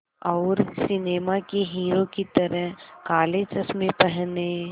और सिनेमा के हीरो की तरह काले चश्मे पहने